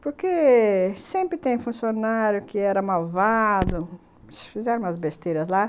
Porque sempre tem funcionário que era malvado, fizeram umas besteiras lá.